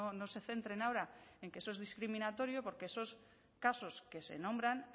no se centren ahora en que eso es discriminatorio porque esos casos que se nombran